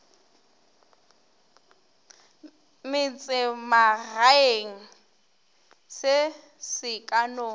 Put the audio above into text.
metsemagaeng se se ka no